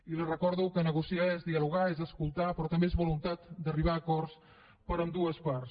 i li recordo que negociar és dialogar és escoltar però també és voluntat d’arribar a acords amb ambdues parts